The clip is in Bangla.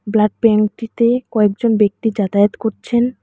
ব্লাড ব্যাঙ্কটিতে কয়েকজন ব্যক্তি যাতায়াত করছেন।